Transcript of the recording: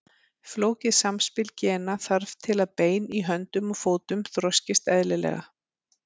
Flókið samspil gena þarf til að bein í höndum og fótum þroskist eðlilega.